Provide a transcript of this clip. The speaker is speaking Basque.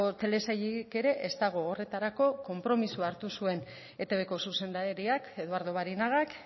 telesailik ere ez dago horretarako konpromisoa hartu zuen etbko zuzendariak eduardo barinagak